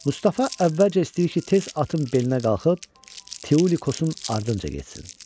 Mustafa əvvəlcə istəyir ki, tez atın belinə qalxıb Tiulikosun ardınca getsin.